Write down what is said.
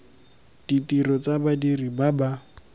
ditiro tsa badiri ba ba